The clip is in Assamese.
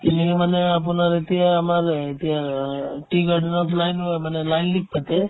কিনিলো মানে আপোনাৰ এতিয়া আমাৰ এতিয়া অ tea garden ৰ মানে পাতে